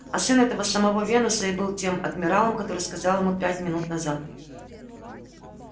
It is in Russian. а сын этого самого венуса и был тем адмиралом который сказал ему пять минут назад